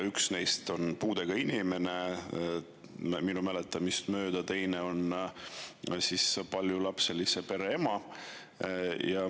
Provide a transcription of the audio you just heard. Üks neist oli puudega inimene ja teine minu mäletamist mööda paljulapselise pere ema.